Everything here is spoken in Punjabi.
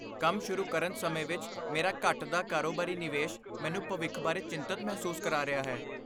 ਕੰਮ ਸ਼ੁਰੂ ਕਰਨ ਸਮੇਂ ਵਿੱਚ ਮੇਰਾ ਘਟਦਾ ਕਾਰੋਬਾਰੀ ਨਿਵੇਸ਼ ਮੈਨੂੰ ਭਵਿੱਖ ਬਾਰੇ ਚਿੰਤਤ ਮਹਿਸੂਸ ਕਰਾ ਰਿਹਾ ਹੈ।